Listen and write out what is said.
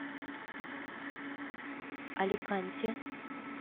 аликанте